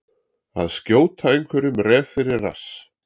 Að skjóta einhverjum ref fyrir rass